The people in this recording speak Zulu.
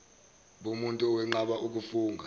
bomuntu owenqaba ukufunga